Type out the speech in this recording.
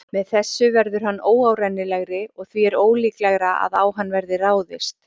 Með þessu verður hann óárennilegri og því er ólíklegra að á hann verði ráðist.